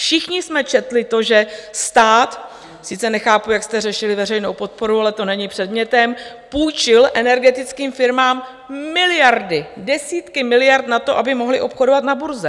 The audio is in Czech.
Všichni jsme četli to, že stát - sice nechápu, jak jste řešili veřejnou podporu, ale to není předmětem - půjčil energetickým firmám miliardy, desítky miliard na to, aby mohly obchodovat na burze.